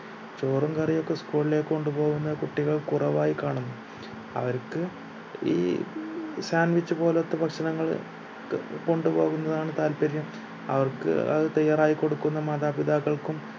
ചോറും കറിയും ഒക്കെ school ലേക്ക് കൊണ്ട് പോകുന്ന കുട്ടികൾ കുറവായി കാണുന്നു അവരിക്ക് ഈ sandwich പോലത്തെ ഭക്ഷണങ്ങൾ കൊണ്ട് പോകുന്നതാണ് താൽപ്പര്യം അവർക്ക് അത് തയ്യാറാക്കി കൊടുക്കുന്ന മാതാപിതാക്കൾക്കും